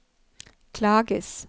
klages